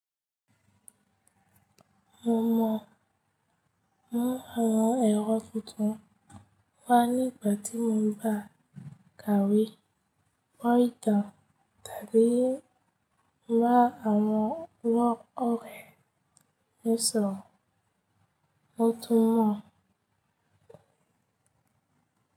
Mo mọ̀ mọ́ àwọn èrò tuntun wá nígbà tí mò ń bá kàwé, mọ́ ìtàn tàbí ń bá àwọn ọ̀rẹ́ mí sọ̀rọ̀. Mótún mọ̀.